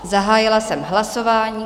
Zahájila jsem hlasování.